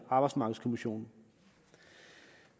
arbejdsmarkedskommissionen